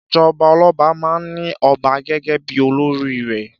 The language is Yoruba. Ìjọba ọlọ́ba máa ń ní ọba gẹ́gẹ́ bí olórí rẹ̀.